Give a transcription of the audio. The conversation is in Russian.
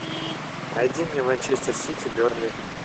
найди мне манчестер сити бернли